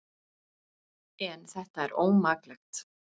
En þetta er ómaklegt.